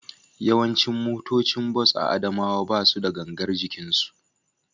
Yawancin motocin bas a Adamawa ba su da gangar jikinsu